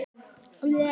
Hvaða læti?